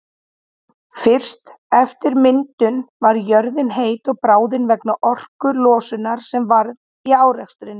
Fyrst eftir myndun var jörðin heit og bráðin vegna orkulosunar sem varð í árekstrunum.